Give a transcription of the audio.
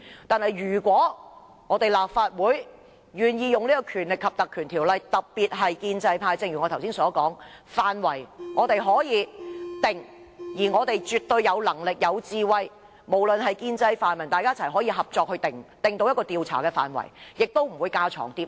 但是，如果立法會願意援引《條例》成立專責委員會，正如我剛才所說，調查範圍我們可以自行決定，而我們絕對有能力、有智慧，無論是建制或泛民，大家可以合作訂出一個調查範圍，不會架床疊屋。